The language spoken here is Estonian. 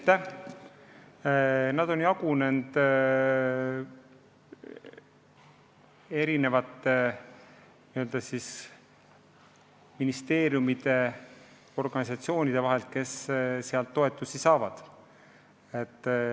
Need summad on jagunenud eri ministeeriumide ja organisatsioonide vahel, kes eelarvest raha saavad.